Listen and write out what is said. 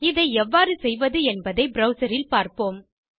இதை எவ்வாறு செய்வது என்பதை ப்ரவ்சர் இல் பார்ப்போம்